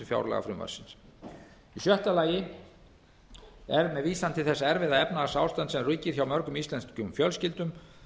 fjárlagafrumvarpsins í sjötta lagi er með vísan til þess erfiða efnahagsástands sem ríkir hjá mörgum íslenskum fjölskyldum